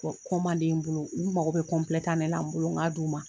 n bolo, olu mago bɛ tan de la , n bolo, n ka d'u ma.